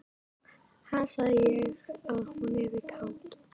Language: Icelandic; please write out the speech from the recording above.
Ha, sagði ég að hún yrði kát?